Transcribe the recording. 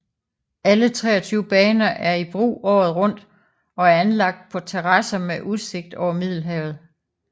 Alle 23 baner er i brug året rundt og er anlagt på terrasser med udsigt over Middelhavet